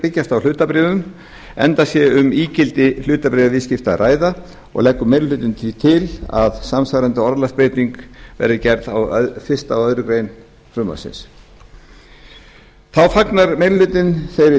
byggjast á hlutabréfum enda sé um ígildi hlutabréfaviðskipta að ræða og leggur meiri hlutinn því til samsvarandi orðalagsbreytingu á fyrsta og aðra grein frumvarpsins þá fagnar meiri hlutinn þeirri